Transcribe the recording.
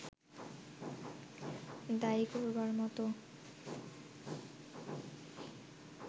দায়ী করবার মতো